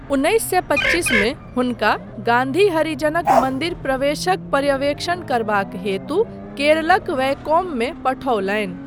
उन्नैस सए पच्चीसमे हुनका गान्धी हरिजनक मन्दिर प्रवेशक पर्यवेक्षण करबाक हेतु केरलक वैकोममे पठौलनि।